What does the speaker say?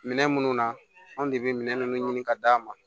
Minɛn minnu na anw de bɛ minɛ minnu ɲini ka d'a ma